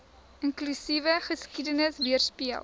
inklusiewe geskiedenis weerspieël